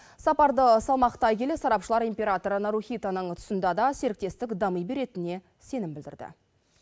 сапарды салмақтай келе сарапшылар император нарухитоның тұсында да серіктестік дами беретініне сенім білдірді